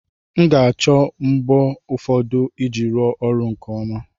M ga-achọ mbọ ụfọdụ iji rụọ ọrụ a nke ọma